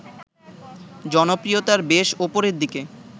জনপ্রিয়তার বেশ ওপরের দিকে